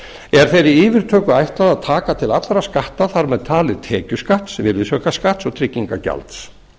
er þeirri yfirtöku ætlað að taka til allra skatta þar með talið tekjuskatts virðisaukaskatts og tryggingagjalds